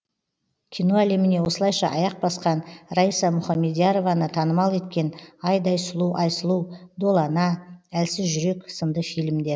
кино әлеміне осылайша аяқ басқан раиса мұхамедиярованы танымал еткен айдай сұлу айсұлу долана әлсіз жүрек сынды фильмдер